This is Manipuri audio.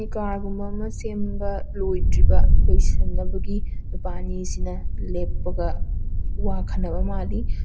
ꯀꯥꯔ ꯒꯨꯝꯕ ꯑꯃ ꯁꯦꯝꯕ ꯂꯣꯏꯗ꯭ꯔꯤꯕ ꯂꯣꯏꯏꯟꯅꯕꯒꯤ ꯅꯨꯄꯥ ꯑꯅꯤ ꯁꯤꯅ ꯂꯦꯞꯄꯒ ꯋꯥ ꯈꯟꯅꯕ ꯃꯥꯜꯂꯤ꯫